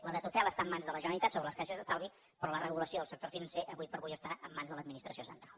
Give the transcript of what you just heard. la de tutela està en mans de la generalitat sobre les caixes d’estalvi però la regulació del sector financer ara per ara està en mans de l’administració central